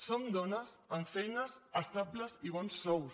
som dones amb feines estables i bons sous